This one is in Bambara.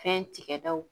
Fɛn tigɛ daw